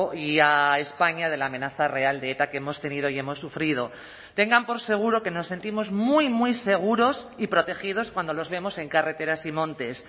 y a españa de la amenaza real de eta que hemos tenido y hemos sufrido tengan por seguro que nos sentimos muy muy seguros y protegidos cuando los vemos en carreteras y montes